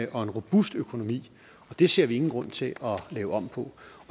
og robust økonomi og det ser vi ingen grund til at lave om på